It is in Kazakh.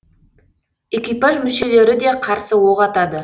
экипаж мүшелері де қарсы оқ атады